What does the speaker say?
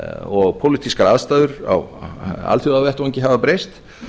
og pólitískar aðstæður á alþjóðavettvangi hafa breyst